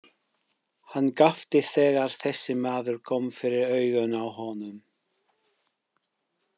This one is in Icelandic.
Hann gapti þegar þessi maður kom fyrir augun á honum.